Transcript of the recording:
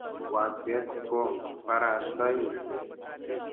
wakset ko barastae ngalek